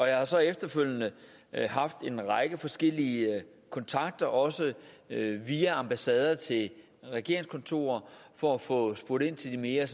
jeg har så efterfølgende haft en række forskellige kontakter også via ambassader til regeringskontorer for at få spurgt ind til den mere